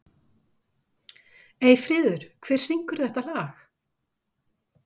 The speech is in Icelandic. Eyfríður, hver syngur þetta lag?